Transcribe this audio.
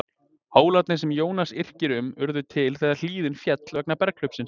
Hólarnir sem Jónas yrkir um urðu til þegar hlíðin féll vegna berghlaupsins.